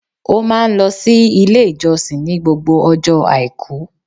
Ó máa ń lọ sí Ilé ìjọsìn ní gbogbo ọjọ́ Àìkú